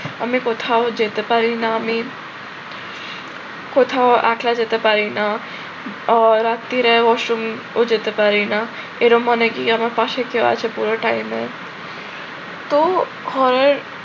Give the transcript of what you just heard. আমি কোথাও যেতে পারি না, আমি কোথাও একলা যেতে পারি না। আহ রাত্তিরে ওয়াশ রুমও যেতে পারি না, এরম মনে কি আমার পাশে কেউ আছে পুরো time এ। তো horror